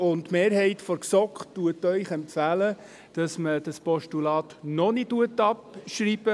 Die Mehrheit der GSoK empfiehlt Ihnen, dieses Postulat noch nicht abzuschreiben.